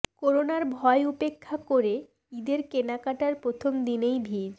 করোনার ভয় উপেক্ষা করে ঈদের কেনাকাটায় প্রথম দিনেই ভিড়